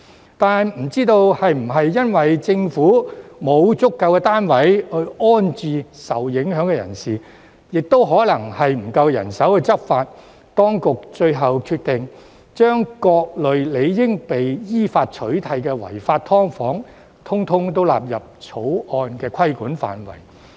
然而，不知道是否因政府沒有足夠單位安置受影響人士，還是欠缺人手執法，當局最後決定將各類理應被依法取締的違法"劏房"，通通都納入《條例草案》的規管範圍。